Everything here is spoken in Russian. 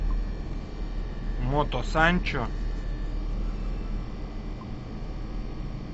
мото санчо